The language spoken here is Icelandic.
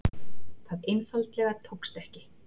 Það einfaldlega tókst ekki.